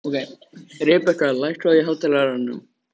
Rebekka, lækkaðu í hátalaranum.